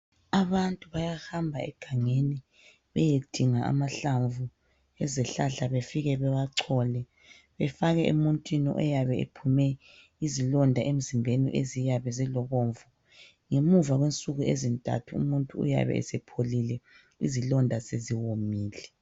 Abantu bayahamba egangeni beyedinga amahlamvu ezihlahla befike bewachole befake emuntwini oyabe ephume izilonda emzimbeni ziyabe zilbomvu ngemuva kwenzsuku ezintathu umuntu uyaba esepholile izilonda seziwomile.